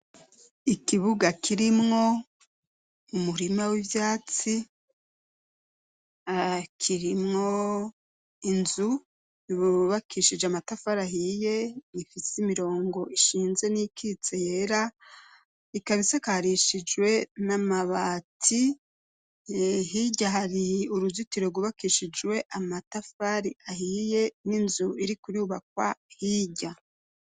Ikibuga kirimwo umurima w'ivyatsi akirimwo inzu iburubakishije amatafu arahiye ifise imirongo ishinze n'ikitse yera ikabisakarishijwe n'amabati hehi irya hari uruzitiro rubakishijwe amatafari ahiye n'inzu iri kuriubakwa hirya.